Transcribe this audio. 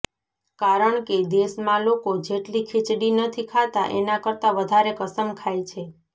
કારણ કે દેશમાં લોકો જેટલી ખીચડી નથી ખાતા એના કરતા વધારે કસમ ખાય છે